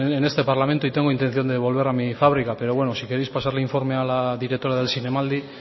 en este parlamento y tengo intención de volver a mi fábrica pero bueno si queréis pasarle el informe a la directora del zinemaldi